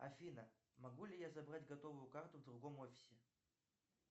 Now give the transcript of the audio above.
афина могу ли я забрать готовую карту в другом офисе